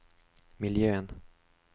miljön